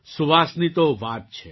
સુવાસની તો વાત છે